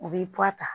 U b'i ta